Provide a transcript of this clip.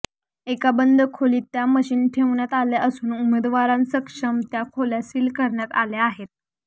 एका बंद खोलीत त्या मशिन ठेवण्यात आल्या असून उमेदवारांसमक्ष त्या खोल्या सील करण्यात आल्या आहेत